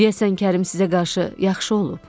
Deyəsən Kərim sizə qarşı yaxşı olub.